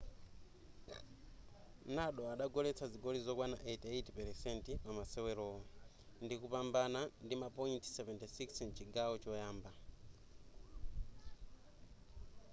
nadal adagoletsa zigoli zokwana 88% pamasewerowo ndikupambana ndima point 76 mchigawo choyamba